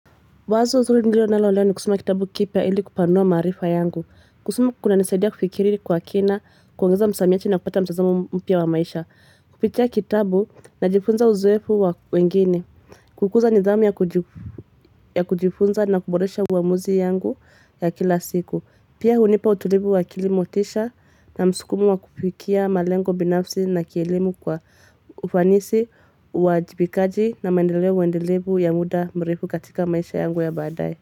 Wazo zuri nilonalo leo ni kusoma kitabu kipya ili kupanua maarifa yangu. Kusoma kunanisaidia kufikiri kwa kina, kuongeza msamiati na kupata mtazamo mpya wa maisha. Kupitia kitabu najifunza uzoefu wa wengine. Kukuza nidhamu ya kujifunza na kuboresha uamuzi yangu ya kila siku. Pia hunipa utulivu wa akili motisha na msukumu wa kufikia malengo binafsi na kielimu kwa ufanisi uwajibikaji na maendeleo endelevu ya muda mrefu katika maisha yangu ya badaye.